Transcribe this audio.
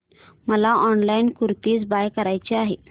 मला online kurti buy करायची आहे